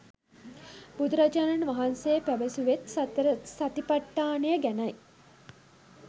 බුදුරජාණන් වහන්සෙ පැවසුවෙත් සතරසතිපට්ඨානය ගැනයි.